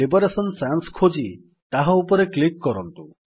liberation Sans ଖୋଜି ତାହା ଉପରେ କ୍ଲିକ୍ କରନ୍ତୁ